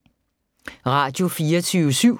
Radio24syv